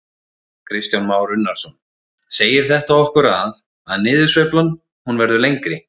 Kristján Már Unnarsson: Segir þetta okkur að, að niðursveiflan hún verður lengri?